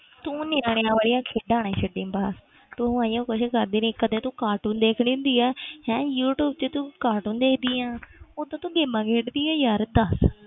ਤੂੰ ਨਿਆਣਿਆਂ ਵਾਲੀਆਂ ਖੇਡਾਂ ਨਾ ਛੱਡੀ ਬਸ ਤੂੰ ਇਹੀਓ ਕੁਛ ਕਰਦੀ ਰਹੀ ਕਦੇ ਤੂੰ cartoon ਦੇਖ ਲੈਂਦੀ ਹੈ ਹੈਂ ਯੂ ਟਿਊਬ ਤੇ ਤੂੰ cartoon ਦੇਖਦੀ ਆਂ ਉੱਤੋਂ ਤੂੰ games ਖੇਡਦੀ ਹੈ ਯਾਰ ਦੱਸ।